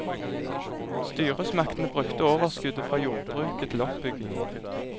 Styresmaktene brukte overskuddet fra jordbruket til oppbyggingen.